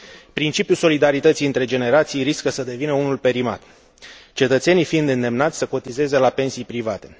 Principiul solidarității între generații riscă să devină unul perimat, cetățenii fiind îndemnați să cotizeze la pensii private.